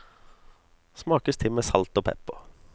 Smakes til med salt og pepper.